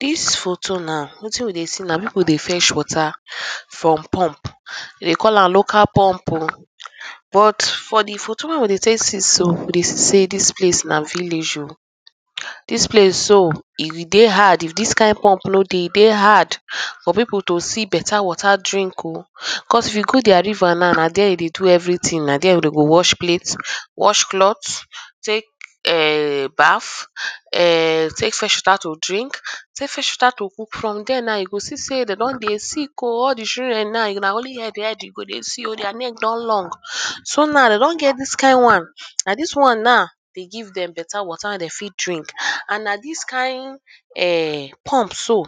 dis photo nah wetin u dey see nah people dey fetch water from pump dey call am local pump o but for di photo wey we dey take see so dey say dis place nah village o dis place so if e dey hard if dis Kain pump no dey e dey hard for people to see beta water to drink o cos if you go their river na nah there Dem dey do everything nah there dey go wash plate, wash clothes take um bath um take fresh water to drink take fresh water to cook from there nah e go see say dem don dey sick oo all di children nah nah only head head you go see oo their name don long so nah dem don get dis Kain one nah dis one nah dey give Dem beta water dey fit drink and nah dis Kain pump so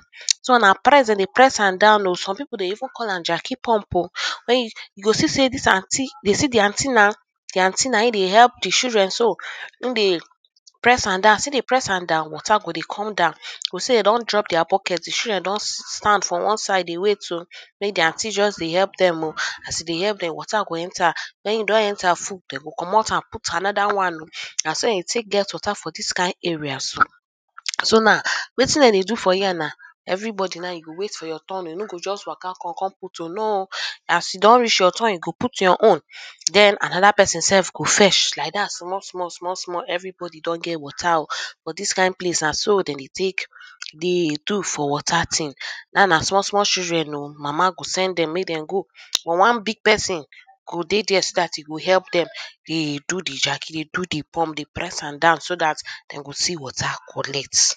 nah press dey press am down o some people dey even call am Jackie pump o you go see say dis aunty dey see di aunty nah, di aunty nah hin dey help di children so e dey press am down as e dey press am down water go dey come down water go see Dem don drop their bucket children don stand one side dey wait o make di aunty just dey help Dem o as e dey help Dem water go enter wen e don enter full Dem go comot am put another one o na so dey take get water for dis Kain areas so na Wetin Dem dey do for here nah everybody nah e go wait for your turn o you no go just Waka come con put o no as e don reach your turn e go put your own then another person self go fetch like that small small everybody don get water o for dis Kain place na so Dem dey take dey do for water thing na na small small children o mama go send Dem make Dem go so one big person go there start e go help Dem dey do di Jackie dey do di pump dey press am down so that Dem go see water collect